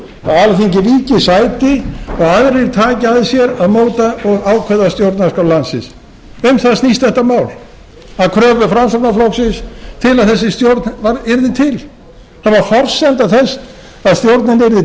að alþingi víki sæti og aðrir taki að sér að móta og ákveða stjórnarskrá landsins um það snýst þetta mál að kröfu framsóknarflokksins til að þessi stjórn yrði til það var forsenda þess